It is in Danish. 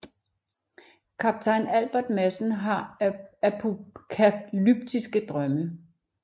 Kaptajn Albert Madsen har apokalyptiske drømme